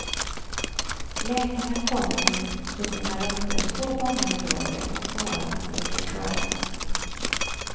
Läkarna kommer på sina ronder två gånger om dagen och journalerna skall ligga klara.